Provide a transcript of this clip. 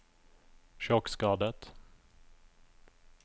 sjokkskadet